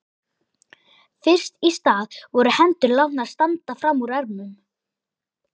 Fyrst í stað voru hendur látnar standa fram úr ermum.